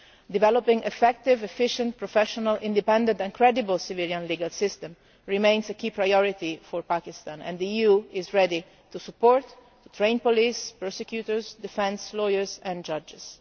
Developing an effective, efficient, professional, independent and credible civilian legal system remains a key priority for Pakistan, and the EU is ready to support and train police, prosecutors, defence lawyers and judges.